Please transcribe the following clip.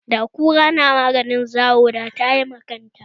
Da kura tana maganin zawo da tayi ma kanta